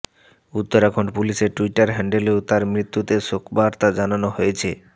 উত্তরাখণ্ড পুলিশের ট্যুইটার হ্যান্ডেলেও তার মৃত্যুতে শোকবার্তা জানানো হয়েছে